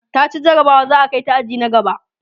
taci jarabawa za'a Kai ta aji na gaba